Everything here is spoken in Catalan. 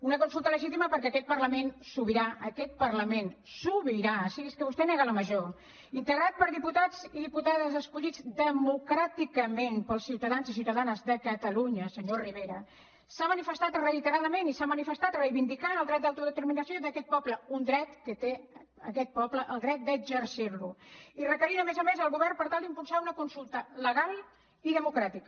una consulta legitima perquè aquest parlament sobirà aquest parlament sobiràmajor integrat per diputats i diputades escollits democràticament pels ciutadans i ciutadanes de catalunya senyor rivera s’ha manifestat reiteradament i s’ha manifestat reivindicant el dret d’autodeterminació d’aquest poble un dret que té aquest poble el dret d’exercir lo i requerint a més a més el govern per tal d’impulsar una consulta legal i democràtica